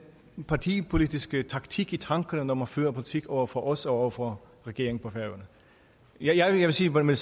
partipolitiske taktik i tankerne når man fører politik over for os og over for regeringen på færøerne jeg vil sige med